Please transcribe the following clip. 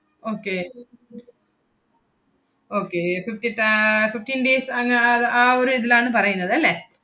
okay okay fifty ta~ ആഹ് fifteen days അങ്ങ് ആഹ് അത് ആ ഒരു ഇതിലാണ് പറയുന്നതല്ലേ?